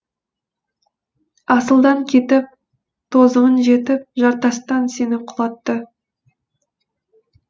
асылдан кетіп тозығың жетіп жартастан сені құлатты